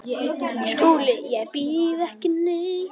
SKÚLI: Ég býð ekki neitt.